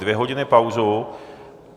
Dvě hodiny pauzu.